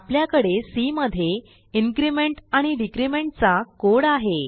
आपल्याकडे सी मध्ये इन्क्रिमेंट आणि डिक्रिमेंट चा कोड आहे